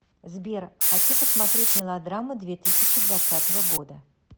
сбер хочу посмотреть мелодраму две тысячи двадцатого года